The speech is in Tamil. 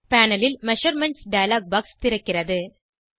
பேனல் ல் மெஷர்மென்ட்ஸ் டயலாக் பாக்ஸ் திறக்கிறது